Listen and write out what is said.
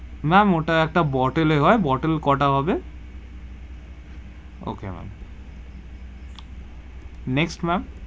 Ma'am ওটা একটা bottle এ হয়, bottle কোটা হবে? Okay ma'am next ma'am.